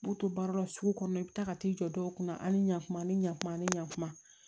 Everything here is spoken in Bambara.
N b'u to baara la sugu kɔnɔ i bɛ taa ka t'i jɔ dɔw kunna ani ɲɛkuma ni ɲakuma ani ɲakuma